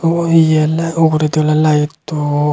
ubo he uguredi ole light to.